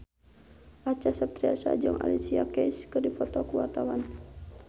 Acha Septriasa jeung Alicia Keys keur dipoto ku wartawan